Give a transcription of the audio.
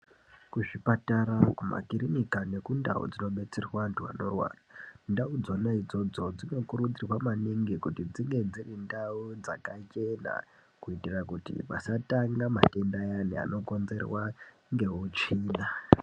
Kuzvipatara, kumakirinika nekundau dzinodetserwa antu anorwara, ndau dzona idzodzo dzinokurudzirwa maningi kuti dzinge dziri ndau dzakachena kuti pasatanga matenda ayani anokonzerwa ngeutsvina.